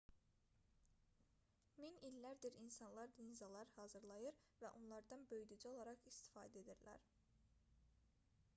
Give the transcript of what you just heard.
min illərdir insanlar linzalar hazırlayır və onlardan böyüdücü olaraq istifadə edirlər